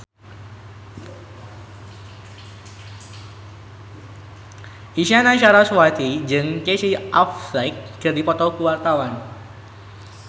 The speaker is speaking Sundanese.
Isyana Sarasvati jeung Casey Affleck keur dipoto ku wartawan